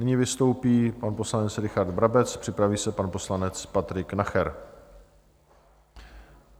Nyní vystoupí pan poslanec Richard Brabec, připraví se pan poslanec Patrik Nacher.